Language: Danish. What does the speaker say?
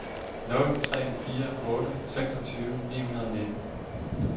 nul tre fire otte seksogtyve ni hundrede og nitten